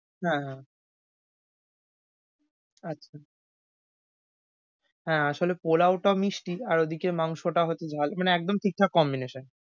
হ্যাঁ, হ্যাঁ আচ্ছা। হ্যাঁ আসলে পোলাও টা মিষ্টি আর ওদিকে মাংস টা হয়ত ঝাল মানে একদম ঠিকঠাক combination ।